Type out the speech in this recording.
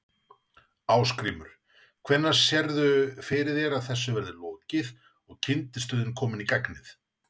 Ásgrímur: Hvenær sérðu fyrir þér að þessu verði lokið og kyndistöðin komin í gagnið?